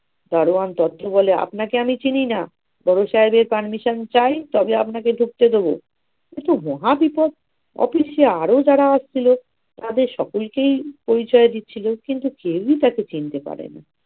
দারোয়ান বলে আপনাকে আমি চিনিনা বড় সাহেবের permission চাই তবে আপনাকে ঢুকতে দেব. এত মহাবিপদ! office এ আরো যারা আসছিলো তাদের সকলকেই পরিচয় দিচ্ছিলো, কিন্তু কেউই তাকে চিনতে পারে নি।